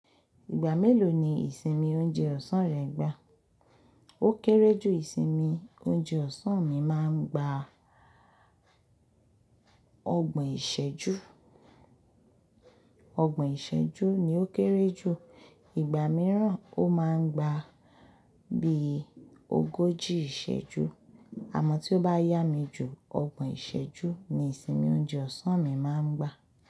Ìgbà mélòó ni ìsinmi oúnjẹ ọ̀sán rẹ ń gba? Ó kéré jù ìsinmi oúnjẹ ọ̀sán mi máa ń gba ọgbọ̀n ìṣẹ́jú. Ọgbọ̀n ìṣẹ́jú ni ó kéré jù. Ìgbà mìíràn ó máa ń gba bí ogójì ìṣẹ́jú. Àmọ́ tí ó bá yá mi jù, ọgbọ̀n ìṣẹ́jú ni ìsinmi oúnjẹ ọ̀sán mi máa ń gba.